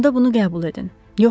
Onda bunu qəbul edin.